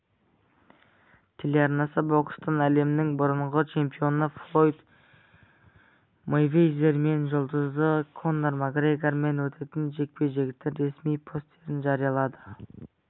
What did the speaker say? телеарнасы бокстан әлемнің бұрынғы чемпионы флойд мейвезер мен жұлдызы конор макгрегормен өтетін жекпе-жектің ресми постерін жариялады